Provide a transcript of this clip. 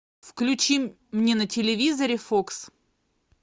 включи мне на телевизоре фокс